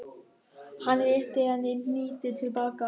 Hann rétti henni hnýtið til baka.